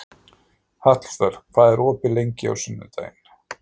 Hallvör, hvað er opið lengi á sunnudaginn?